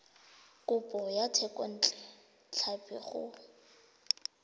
kopo ya thekontle tlhapi go